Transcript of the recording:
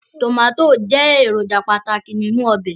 Tomati jẹ eroja pataki ninu obe